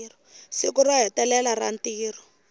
siku ro hetelela ra ntirho